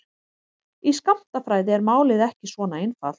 Í skammtafræði er málið ekki svona einfalt.